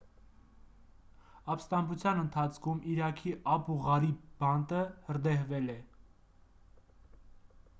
ապստամբության ընթացքում իրաքի աբու ղարիբ բանտը հրդեհվել է